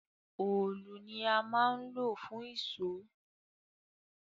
òòlù ni a máa ń lò fún ìṣọ́